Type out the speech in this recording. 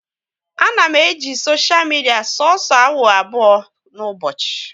A na m eji soshia midia soso awa abụọ n'ụbọchị